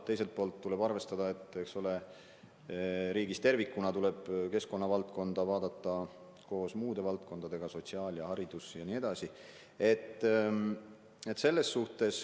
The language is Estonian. Teiselt poolt tuleb arvestada, et riigis tervikuna tuleb keskkonnavaldkonda vaadata koos muude valdkondadega: sotsiaalvaldkonad, haridus ja nii edasi.